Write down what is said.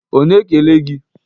Ọ na-ekele gị?